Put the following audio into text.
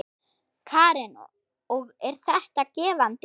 Karen: Og er þetta gefandi?